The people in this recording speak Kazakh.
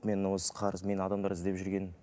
мені осы қарыз мені адамдар іздеп жүрген